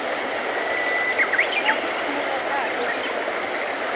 na ririmi ra kahle swi